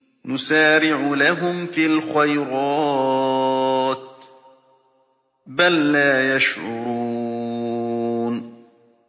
نُسَارِعُ لَهُمْ فِي الْخَيْرَاتِ ۚ بَل لَّا يَشْعُرُونَ